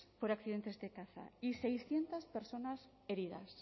por accidentes de caza y seiscientos personas heridas